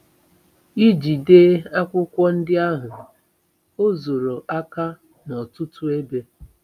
Iji dee akwụkwọ ndị ahụ, o zoro aka n'ọtụtụ ebe.